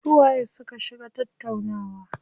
Su waye su ka shiga tattaunawa?